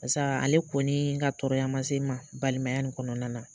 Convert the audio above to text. Pasaa ale kɔnii ka tɔɔrɔya ma se ma balimaya nin kɔnɔna na.